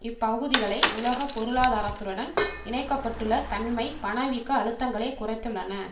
இப்பகுதிகளை உலக பொருளாதாரத்துடன் இணைக்க பட்டுள்ள தன்மை பணவீக்க அழுத்தங்களை குறைத்துள்ளன